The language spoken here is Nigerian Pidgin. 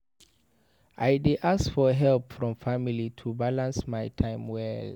I dey ask for help from family to balance my time well.